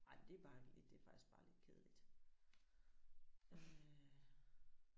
Ej men det er bare det er faktisk bare lidt kedeligt øh